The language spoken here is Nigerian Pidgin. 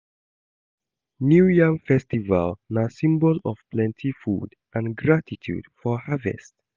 New Yam festival na symbol of plenty food and gratitude for harvest.